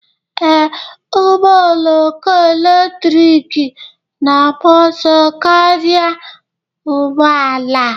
Ee, ụgbọ oloko eletrik na-agba ọsọ karịa ụgbọ ala